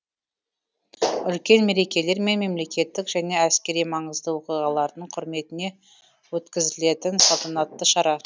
үлкен мерекелер мен мемлекеттік және әскери маңызды оқиғалардың құрметіне өткізілетін салтанатты шара